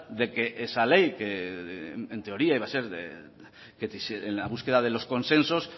de que esa ley que en teoría iba a ser en la búsqueda de los consensos